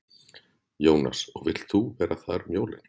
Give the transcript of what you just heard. Jónas: Og þú vilt vera þar um jólin?